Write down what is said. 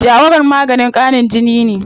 Jawaron maganin ƙarin jini ne.